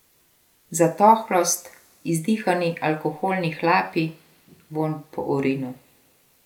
Zatohlost, izdihani alkoholni hlapi, vonj po urinu.